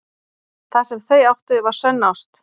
Það sem þau áttu var sönn ást.